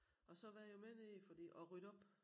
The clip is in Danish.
Og så var jeg jo med nede fordi at rydde op